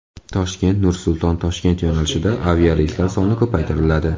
Toshkent–Nur-Sulton–Toshkent yo‘nalishida aviareyslar soni ko‘paytiriladi.